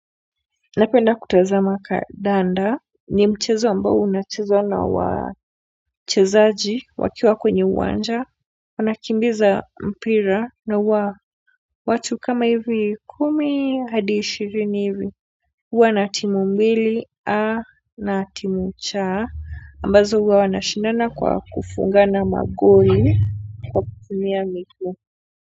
Napenda kutazama kandanda ni mchezo ambao unachezwa na wachezaji wakiwa kwenye uwanja wanakimbiza mpira na wa watu kama hivi kumi hadi ishirini hivi huwa na timu mbili a na timu cha ambazo huwa wanashindana kwa kufungana magoli kwa kutumia miguu.